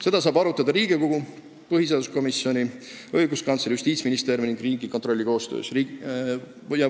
Seda saab arutada Riigikogu põhiseaduskomisjoni, õiguskantsleri, Justiitsministeeriumi ja Riigikontrolli koostöös.